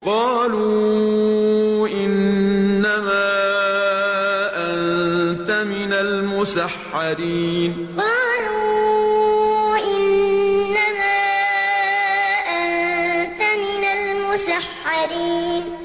قَالُوا إِنَّمَا أَنتَ مِنَ الْمُسَحَّرِينَ قَالُوا إِنَّمَا أَنتَ مِنَ الْمُسَحَّرِينَ